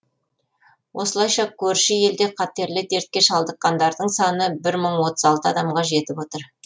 осылайша көрші елде қатерлі дертке шалдыққандардың саны бір мың отыз алты адамға жетіп отыр